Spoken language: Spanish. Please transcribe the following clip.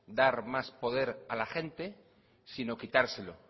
dar más poder a la gente sino quitárselo